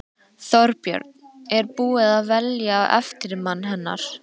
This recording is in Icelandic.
Þorbjörn: Er búið að velja eftirmann hennar?